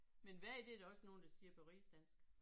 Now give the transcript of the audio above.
Men vag det er der også nogen der siger på rigsdansk